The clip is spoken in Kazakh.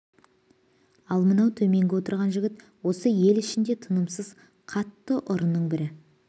ал мынау төменгі отырған жігіт осы ел ішіндегі тынымсыз қатты ұрының бірі